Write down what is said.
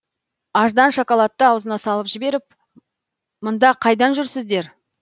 аждан шоколадты ауызына салып жіберіп мында қайдан жүрсіздер